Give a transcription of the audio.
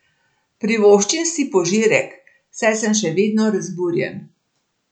Privoščim si požirek, saj sem še vedno razburjen.